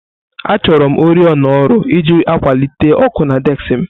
Achọrọm oriọna ọrụ iji akwalite ọkụ na désik m